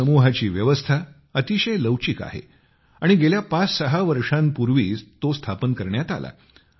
या समूहाची व्यवस्था अतिशय लवचिक आहे आणि गेल्या पाचसहा वर्षांपूर्वी तो स्थापन करण्यात आला